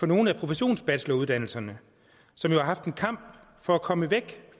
nogle af professionsbacheloruddannelserne som har haft en kamp for komme væk